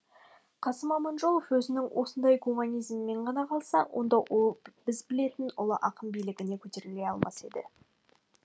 қасым аманжолов өзінің осындай гуманизмімен ғана қалса онда ол біз білетін ұлы ақын биігіне көтеріле алмас еді